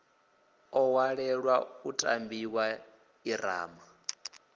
o ṅwalelwa u tambiwa ḓirama